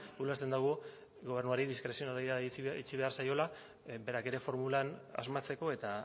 ulertzen dugu gobernuari diskrezionalitatea itxi behar zaiola berak ere formulan asmatzeko eta